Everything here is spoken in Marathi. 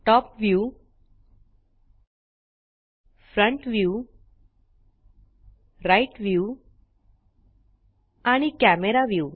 top view front view right view आणि कॅमेरा व्ह्यू